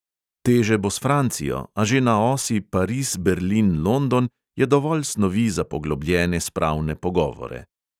Teže bo s francijo, a že na osi pariz-berlin-london je dovolj snovi za poglobljene spravne pogovore.